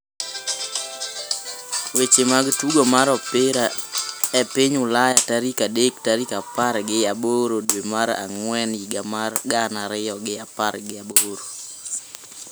Weche mag tugo mar opira e piny Ulaya tarik adek tarik apar gi aboro dwe mar ang'wen higa mar gana ariyo gi apar gi aboro